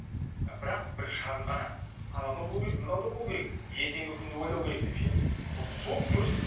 ы бірақ бір шағын ғана анау да болу керек мынау да болу керек ертеңгі күнді ойлау керек деп ше вот сол дұрыс